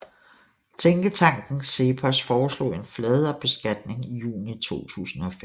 Tænketanken CEPOS forelog en fladere beskatning i juni 2005